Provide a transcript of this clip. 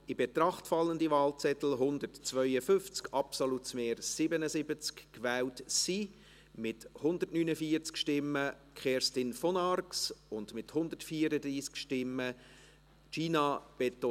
Das Problem ist, dass Herr Schnegg auf jeden Fall um 16.30 Uhr gehen muss, weil im Bundeshaus eine vom Bund organisierte Coronavirus-Sitzung stattfindet.